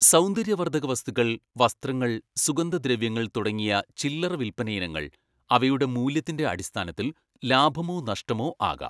സൗന്ദര്യവർദ്ധകവസ്തുക്കൾ, വസ്ത്രങ്ങൾ, സുഗന്ധദ്രവ്യങ്ങൾ തുടങ്ങിയ ചില്ലറ വിൽപ്പനയിനങ്ങൾ അവയുടെ മൂല്യത്തിന്റെ അടിസ്ഥാനത്തിൽ ലാഭമോ നഷ്ടമോ ആകാം.